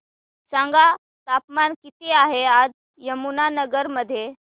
सांगा तापमान किती आहे आज यमुनानगर मध्ये